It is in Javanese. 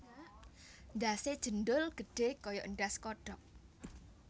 Ndhase njendhol gedhe kaya ndhas kodhok